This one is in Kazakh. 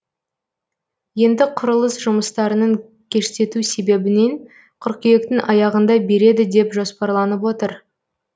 енді құрылыс жұмыстарының кештету себебінен қыркүйектің аяғында береді деп жоспарланып отыр